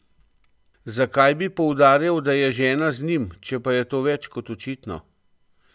Zakaj bi poudarjal, da je žena z njim, če pa je to več kot očitno?